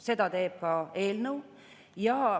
Seda teeb ka eelnõu.